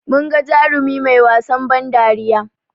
Munga jarumi mai wasan ban dariya